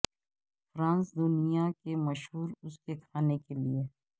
France دنیا کے مشہور اس کے کھانے کے لئے